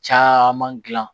Caman gilan